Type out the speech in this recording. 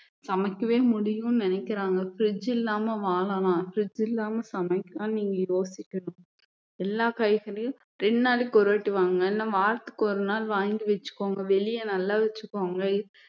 சமைக்கவே முடியும்னு நினைக்கிறாங்க fridge இல்லாம வாழலாம் fridge இல்லாம சமைக்கலாம்னு நீங்க யோசிக்கணும் எல்லா காய்கறியும் ரெண்டு நாளைக்கு ஒரு வாட்டி வாங்குங்க இல்ல வாரத்துக்கு ஒரு நாள் வாங்கி வச்சுக்கோங்க வெளியே நல்லா வச்சுக்கோங்க